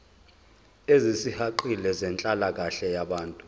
ezisihaqile zenhlalakahle yabantu